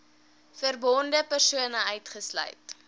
verbonde persone uitgesluit